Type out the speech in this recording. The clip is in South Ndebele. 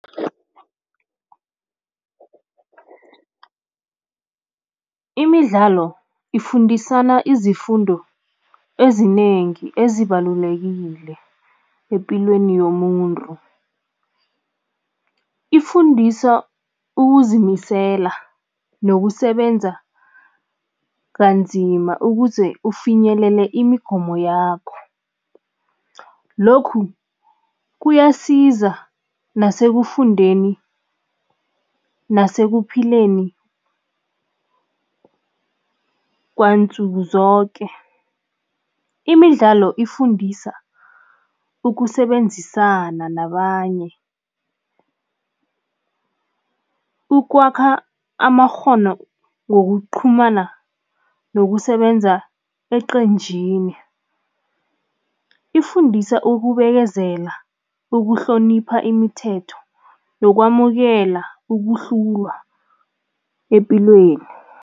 Imidlalo ifundisana izifundo ezinengi ezibalulekile epilweni yomuntu. Ifundisa ukuzimisela nokusebenza kanzima ukuze ufinyelele imigomo yakho. Lokhu kuyasiza nasekufundeni, nasekuphileni kwansuku zoke. Imidlalo ifundisa ukusebenzisana nabanye, ukwakha amakghono ngokuqhumana nokusebenza eqenjini. Ifundisa ukubekezela, ukuhlonipha imithetho nokwamukela ukuhlulwa epilweni.